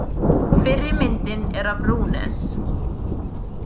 Fyrri myndin er af Runes.